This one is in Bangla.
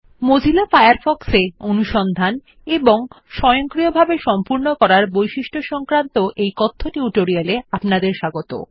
মোজিলা ফায়ারফক্সে অনুসন্ধান এবং স্বয়ংসক্রিয়ভাবে সম্পূর্ণ করার বৈশিষ্ট সংক্রান্ত এই কথ্য টিউটোরিয়াল এ অপনাদের স্বাগত